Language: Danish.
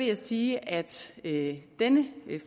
jeg sige at at denne